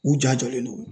U ja jɔlen don